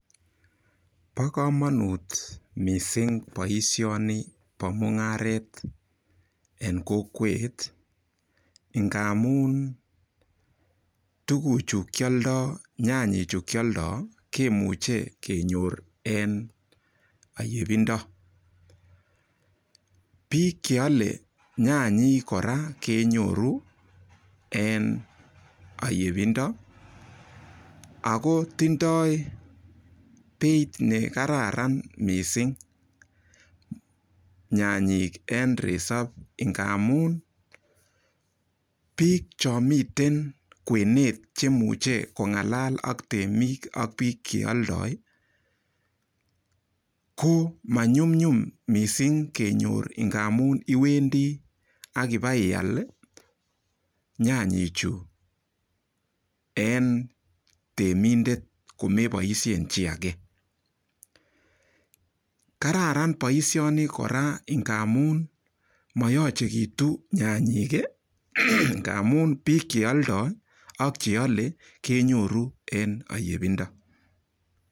Bo komonut mising boishoni bo mung'aret eng kokwet ngamun tukuchu kialdoi nyanyechu kialdoi kemuche kenyor eng ayepindo biik cheole nyanyik kora kenyoru eng oyepindo ako tindoi beit nekararan mising nyanyek eng resop ngamun biik cho miten kwenet kemuche kongalal aka temik ak biik cheoldoi ko manyumnyum missing kenyor ngamun iwendi akibaial nyanyek chu eng temindet komeboishen kiy age kararan boishoni kora ngamun mayochekitu nyanyek ngamun biik cheoldoi ak cheolei kenyoru eng oyepindo.